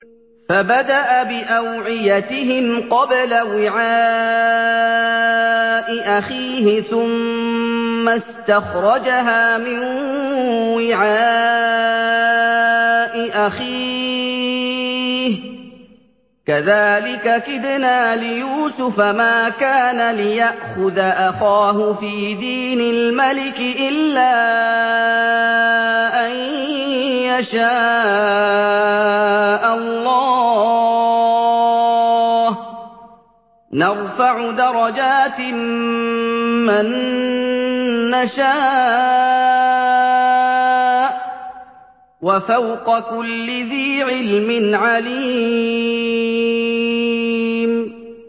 فَبَدَأَ بِأَوْعِيَتِهِمْ قَبْلَ وِعَاءِ أَخِيهِ ثُمَّ اسْتَخْرَجَهَا مِن وِعَاءِ أَخِيهِ ۚ كَذَٰلِكَ كِدْنَا لِيُوسُفَ ۖ مَا كَانَ لِيَأْخُذَ أَخَاهُ فِي دِينِ الْمَلِكِ إِلَّا أَن يَشَاءَ اللَّهُ ۚ نَرْفَعُ دَرَجَاتٍ مَّن نَّشَاءُ ۗ وَفَوْقَ كُلِّ ذِي عِلْمٍ عَلِيمٌ